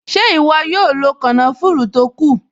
Ṣé ìwọ yóò lo kànáfùrù tó kù?